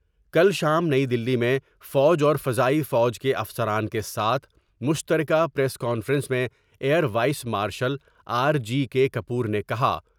کل شام نئی دلی میں فوج اور فضائی فوج کے افسران کے ساتھ مشترکہ پریس کانفرنس میں air vice marshal R G K Kapoor نے کہا۔